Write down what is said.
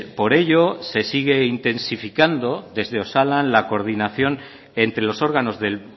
por ello se sigue intensificando desde osalan la coordinación entre los órganos del